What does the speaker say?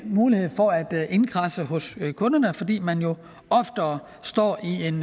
mulighed for at indkradse hos kunderne fordi man jo oftere står i en